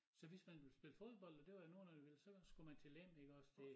Så hvis man ville spille fodbold og det var der nogen af der ville så skulle man til Lem iggås det